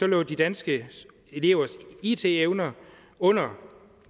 lå de danske elevers it evner under